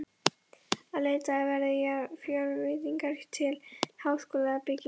Að leitað verði fjárveitingar til háskólabyggingar.